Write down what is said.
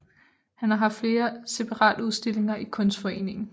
Han har haft flere separatudstillinger i Kunstforeningen